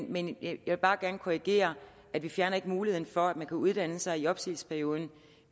men jeg vil bare gerne korrigere vi fjerner ikke muligheden for at man kan uddanne sig i opsigelsesperioden